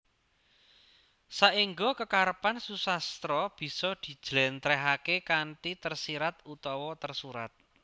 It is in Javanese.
Saengga kekarepan susastra bisa dijlèntrèhaké kanthi tersirat utawa tersurat